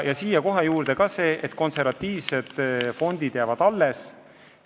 Siia juurde kohe see, et konservatiivsed fondid jäävad alles.